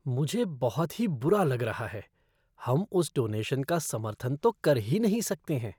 मुझे बहुत ही बुरा लग रहा है! हम उस डोनेशन का समर्थन तो कर ही नहीं सकते हैं।